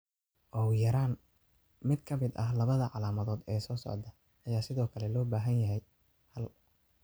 Ugu yaraan mid ka mid ah labada calaamadood ee soo socda ayaa sidoo kale loo baahan yahay: hal